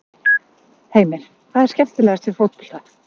Heimir: Hvað er skemmilegast við fótbolta?